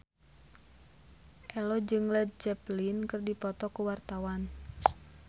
Ello jeung Led Zeppelin keur dipoto ku wartawan